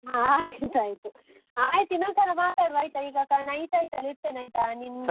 ಹಾ ಆಯ್ತ್ ಆಯ್ತು. ಆಯ್ತ್ ಇನ್ನೊಂದ್ ಸಲ ಮಾತಾಡುವ ಆಯ್ತಾ ಈಗ night ಆಯ್ತಲ್ಲಾ ಇಡ್ತೇನೆ ಆಯ್ತಾ